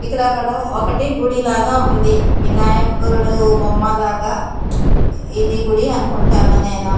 ఇక్కడ అకడ ఒకటి గుడి లాగా ఉంది వినాయకుడు బొమ్మ లాగా ఇది గుడి అనుకుంటాను నేను.